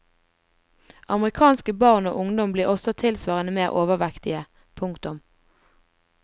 Amerikanske barn og ungdom blir også tilsvarende mer overvektige. punktum